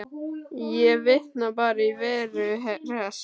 Ég vitna bara í Veru Hress.